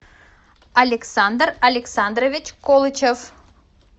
александр александрович колычев